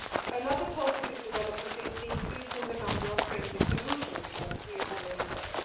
Another positive development is the increase in the number of friendly solutions, as we have already heard.